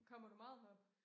Kommer du meget herop?